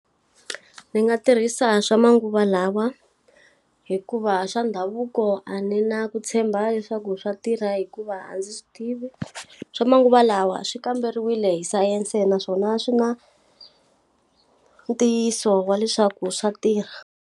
Ndzi nga tirhisa swa manguva lawa hikuva swa ndhavuko a ni na ku tshemba leswaku swa tirha hikuva a ndzi swi tivi. Swa manguva lawa swi kamberiwile hi sayense naswona swi na ntiyiso wa leswaku swa tirha.